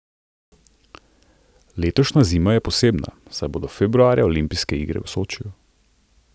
Letošnja zima je posebna, saj bodo februarja olimpijske igre v Sočiju.